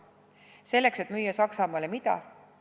Selleks, et müüa Saksamaale mida?